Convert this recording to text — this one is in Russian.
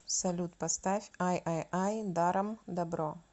салют поставь ай ай ай даром дабро